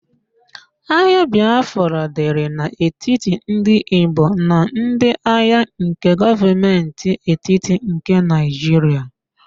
Agha Bịafra dịrị n'etiti ndị Igbo na ndi agha nke Gọọmentị etiti nke Naịjiria